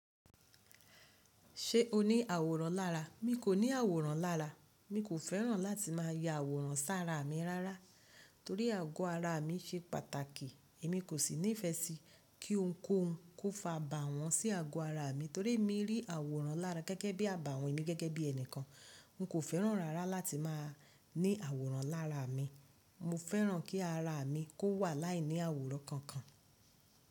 Ṣé o ní àwòrán lára? Mi kò ní àwòrán lára. Mi kò fẹ́ràn láti máa ya àwòrán sára mi rárá torí àgọ́ ara mi ṣe pàtàkì. Èmi kò sì ní ìfẹ́ sí kí ohunkóhun kó fa abáwọn sí àgọ́ ara mi torí emi rí àwòrán lára gẹ́gẹ́ bí àbàwọ́n emi gẹ́gẹ́ bí ẹnìkan. N kò fẹ́ràn rárá láti máa ní àwòrán lára mi. Mo fẹ́ràn kí ara mi kó wà láìní àwòrán kankan.